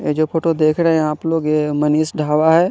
ये जो फोटो देख रहे है आप लोग ये मनीष ढाबा है।